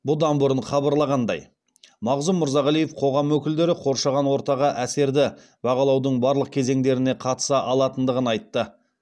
бұдан бұрын хабарлағандай мағзұм мырзағалиев қоғам өкілдері қоршаған ортаға әсерді бағалаудың барлық кезеңдеріне қатыса алатындығын айтты